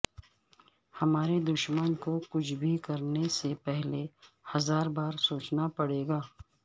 ہمارے دشمن کو کچھ بھی کرنے سے پہلے ہزار بار سوچنا پڑےگا